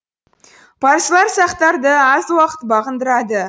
парсылар сақтарды аз уақыт бағындырады